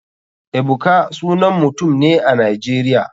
Ebuka sanan mutum ne a nigeria.